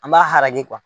An b'a haraki